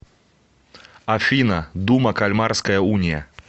афина дума кальмарская уния